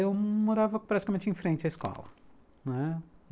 Eu morava praticamente em frente à escola, não é?